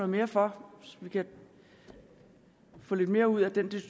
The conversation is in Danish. mere for så vi kan få lidt mere ud af den